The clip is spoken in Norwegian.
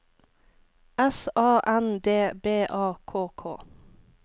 S A N D B A K K